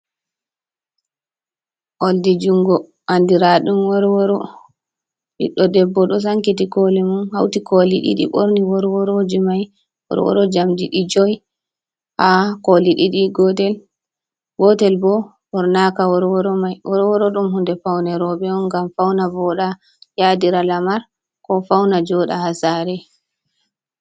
Oldi jungo andiraɗum worworo. Ɓiddo debbo ɗo Sankiti kole mum, hauti koli ɗiɗi ɓorni worworoji mai. Worworo jamɗi jowi, ha koli ɗiɗi gotel, gotel bo Ɓornaka worworo mai, worworo ɗum hunde Paune robe'on ngam Fauna voɗa yadira Lamar ko fauna joɗa ha Sare.